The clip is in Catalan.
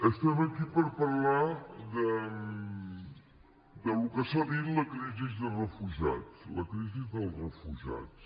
estem aquí per parlar del que s’ha dit la crisi de refugiats la crisi dels refugiats